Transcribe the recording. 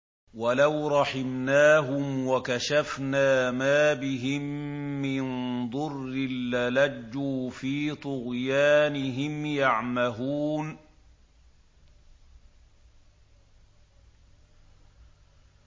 ۞ وَلَوْ رَحِمْنَاهُمْ وَكَشَفْنَا مَا بِهِم مِّن ضُرٍّ لَّلَجُّوا فِي طُغْيَانِهِمْ يَعْمَهُونَ